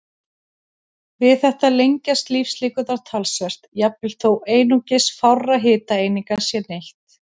Við þetta lengjast lífslíkurnar talsvert, jafnvel þó einungis fárra hitaeininga sé neytt.